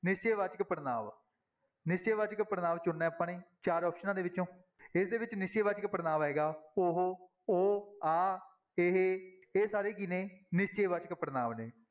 ਨਿਸ਼ਚੈ ਵਾਚਕ ਪੜ੍ਹਨਾਂਵ, ਨਿਸ਼ਚੈ ਵਾਚਕ ਪੜ੍ਹਨਾਂਵ ਚੁਣਨਾ ਹੈ ਆਪਾਂ ਨੇ ਚਾਰ ਆਪਸਨਾਂ ਦੇ ਵਿੱਚੋਂ ਇਹਦੇ ਵਿੱਚ ਨਿਸ਼ਚੈ ਵਾਚਕ ਪੜ੍ਹਨਾਂਵ ਆਏਗਾ ਉਹੋ, ਉਹ, ਆਹ, ਇਹ, ਇਹ ਸਾਰੇ ਕੀ ਨੇ ਨਿਸ਼ਚੈ ਵਾਚਕ ਪੜ੍ਹਨਾਂਵ ਨੇ।